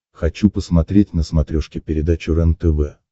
хочу посмотреть на смотрешке передачу рентв